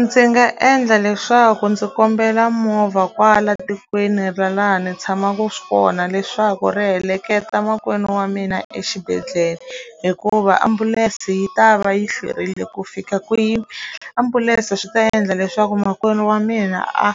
Ndzi nga endla leswaku ndzi kombela movha kwala tikweni ra laha ni tshamaka kona leswaku ri heleketa makwenu wa mina exibedhlele hikuva ambulense yi ta va yi hlwerile ku fika kwini ambulense swi ta endla leswaku makwenu wa mina a